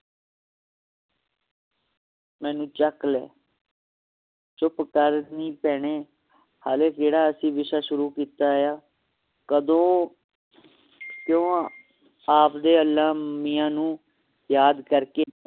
ਮੈਨੂੰ ਚੱਕ ਲੈ ਚੁੱਪ ਕਰ ਨੀ ਭੈਣੇ ਹਲੇ ਕਿਹੜਾ ਅਸੀਂ ਵਿਸ਼ਾ ਸ਼ੁਰੂ ਕੀਤਾ ਹੈ ਕਦੋ ਕਯੋ ਆਪਦੇ ਅਲਾਹ ਮੀਆਂ ਨੂੰ ਯਾਦ ਕਰਕੇ